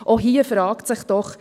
Auch hier fragt sich doch: